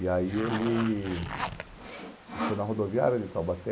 E aí ele... A gente foi na rodoviária de Taubaté,